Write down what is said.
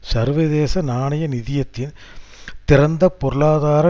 சர்வதேச நாணய நிதியத்தின் திறந்த பொருளாதார